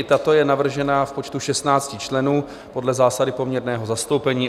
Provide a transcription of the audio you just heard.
I tato je navržena v počtu 16 členů podle zásady poměrného zastoupení.